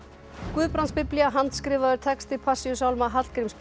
Guðbrandsbiblía handskrifaður texti Passíusálma Hallgríms